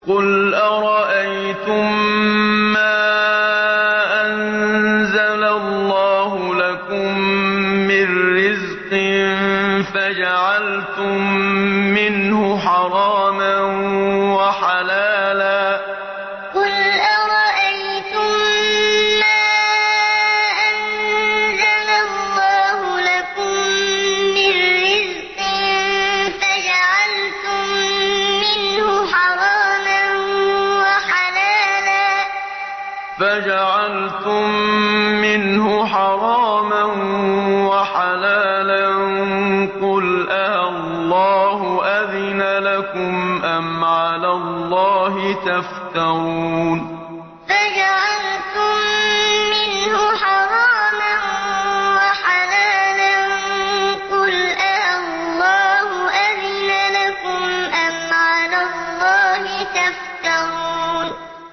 قُلْ أَرَأَيْتُم مَّا أَنزَلَ اللَّهُ لَكُم مِّن رِّزْقٍ فَجَعَلْتُم مِّنْهُ حَرَامًا وَحَلَالًا قُلْ آللَّهُ أَذِنَ لَكُمْ ۖ أَمْ عَلَى اللَّهِ تَفْتَرُونَ قُلْ أَرَأَيْتُم مَّا أَنزَلَ اللَّهُ لَكُم مِّن رِّزْقٍ فَجَعَلْتُم مِّنْهُ حَرَامًا وَحَلَالًا قُلْ آللَّهُ أَذِنَ لَكُمْ ۖ أَمْ عَلَى اللَّهِ تَفْتَرُونَ